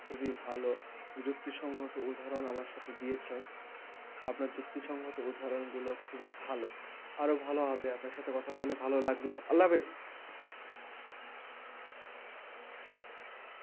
খুবই ভালো যুক্তি সংগত উদাহরণ আমার সাথে দিয়েছেন আপনার যুক্তি সংগত উদাহরণ গুলো খুবই ভালই আরও ভালো হবে আপনার সাথে কথা বলে ভালো লাগলো আল্লা হাফিজ